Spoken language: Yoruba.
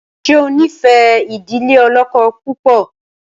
ṣe o nfe idile olókó púpọ.?